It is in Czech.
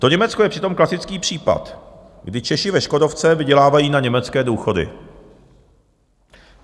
To Německo je přitom klasický případ, kdy Češi ve Škodovce vydělávají na německé důchody.